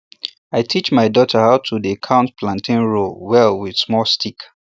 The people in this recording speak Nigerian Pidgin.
i teach my daughter how to dey count planting row well with small stick